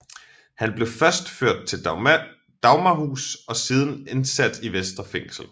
Han blev først ført til Dagmarhus og siden indsat i Vestre Fængsel